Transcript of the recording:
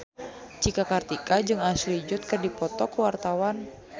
Cika Kartika jeung Ashley Judd keur dipoto ku wartawan